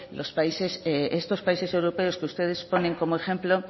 estos países europeos que ustedes ponen como ejemplo